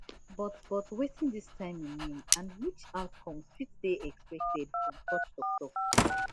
but but wetin dis timing mean and which outcomes fit dey expected from such toktok